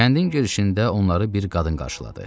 Kəndin girişində onları bir qadın qarşıladı.